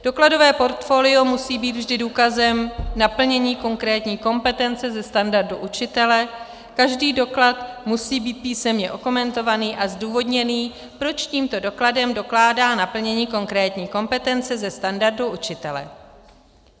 Dokladové portfolio musí být vždy důkazem naplnění konkrétní kompetence ze standardu učitele, každý doklad musí být písemně okomentovaný a zdůvodněný, proč tímto dokladem dokládá naplnění konkrétní kompetence ze standardu učitele.